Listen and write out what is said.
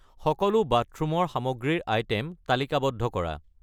সকলো বাথৰুমৰ সামগ্ৰী ৰ আইটে'ম তালিকাবদ্ধ কৰা।